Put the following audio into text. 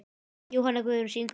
Jóhanna Guðrún syngur.